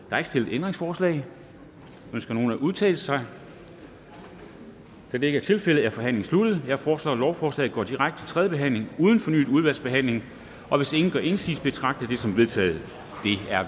er ikke stillet ændringsforslag ønsker nogen at udtale sig da det ikke er tilfældet er forhandlingen sluttet jeg foreslår at lovforslaget går direkte til tredje behandling uden fornyet udvalgsbehandling og hvis ingen gør indsigelse betragter jeg det som vedtaget